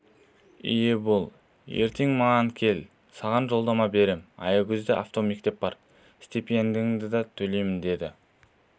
ие бол ертең маған кел саған жолдама берем аягөзде автомектеп бар стипендияңды да төлеймін деді